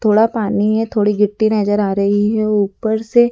थोड़ा पानी है थोड़ी गिट्टी नजर आ रही है ऊपर से--